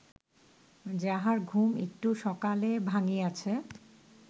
যাহার ঘুম একটু সকালে ভাঙ্গিয়াছে